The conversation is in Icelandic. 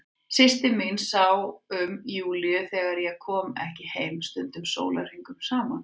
Systir mín sá um Júlíu þegar ég kom ekki heim, stundum sólarhringum saman.